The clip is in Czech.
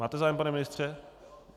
Máte zájem, pane ministře?